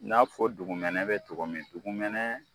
N'a fɔ dugumɛnɛ bɛ togo min dugumɛnɛ